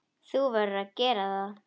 Þú verður að gera það.